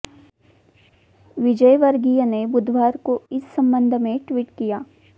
विजयवर्गीय ने बुधवार को इस संबंध में ट्वीट किया